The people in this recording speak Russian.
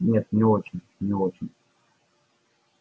нет не очень не очень